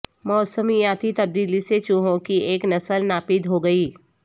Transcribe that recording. موسمیاتی تبدیلی سے چوہوں کی ایک نسل ناپید ہو گئی